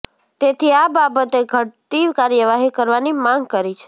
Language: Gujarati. તેથી આ બાબતે ઘટતી કાર્યવાહી કરવાની માંગ કરી છે